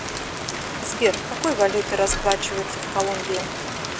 сбер какой валютой расплачиваются в колумбии